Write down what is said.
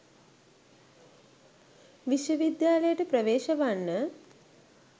විශ්වවිද්‍යාලයට ප්‍රවේශ වන්න